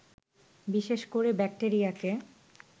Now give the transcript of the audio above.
বিশেষ করে ব্যাক্টেরিয়াকে